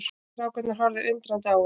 Strákarnir horfðu undrandi á hann.